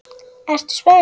Ertu spennt?